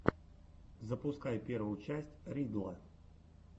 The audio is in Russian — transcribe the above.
запускай первую часть ридддла